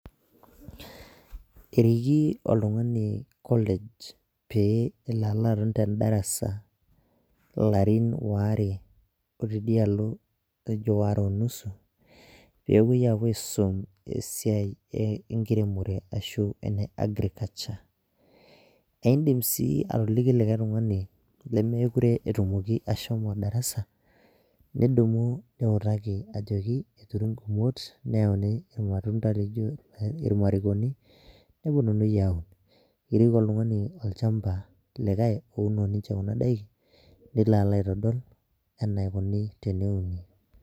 Eriki oltungani college pee elo alo aton te darasa, ilarin waare otidialo, aare o nusu pee epuoi aapuo aisum esiai enkiremore ashu ene agriculture idim sii atolliki likae tungani, lemeekurw etumoki ashomo darasa, nidumu nikutaki ajoki eturi gumoto neuni ilmatunda laijo, irmarikoni nepuonunui aaun, etii ele tungani olchampa likae. Ouno ninye Kuna daikin nelo alo aitodolu enaikoni teneuni